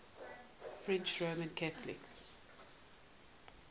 french roman catholics